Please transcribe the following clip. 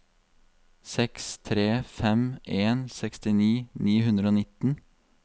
seks tre fem en sekstini ni hundre og nitten